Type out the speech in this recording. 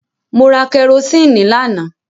Mo ra kẹrosíìnì lánàá.